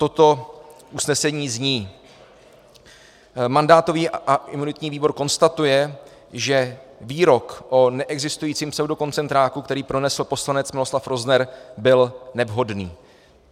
Toto usnesení zní: Mandátový a imunitní výbor konstatuje, že výrok o neexistujícím pseudokoncentráku, který pronesl poslanec Miloslav Rozner, byl nevhodný.